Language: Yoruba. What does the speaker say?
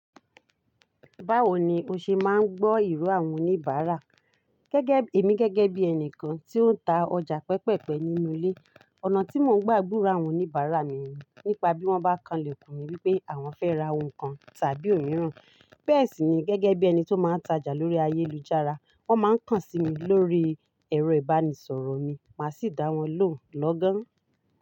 Báwo ni o ṣe máa ń gbọ́ ìró àwọn oníbàárà? Gẹ́gẹ́, èmi gẹ́gẹ́ bí ẹni kan tí ó ń ta ọjà pẹ pẹ̀ pẹ̀ nínú ilé, ọ̀nà tí mò ń gbà gburo àwọn oníbàárà mi ni nípa bí wọ́n bá kan lèkùn mi wípé àwọn fẹ́ ra ohun kan tàbí ò míràn. Bẹ́ẹ̀ sì ni gẹ́gẹ́ bí ẹni tó máa ń tajà lórí ayélujára, wọ́n máa ń kàn sí mi lórí ẹ̀rọ ìbánisọ̀rọ̀ mi, màá sì dá wọn lóhùn lọ́gán.